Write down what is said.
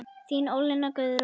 Þín Ólína Guðrún.